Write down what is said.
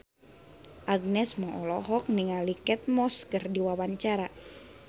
Agnes Mo olohok ningali Kate Moss keur diwawancara